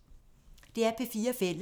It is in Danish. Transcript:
DR P4 Fælles